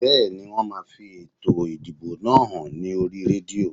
Bẹ́ẹ̀ni, wón máa fi ètò ìdìbò náà hàn ní oríi rédíò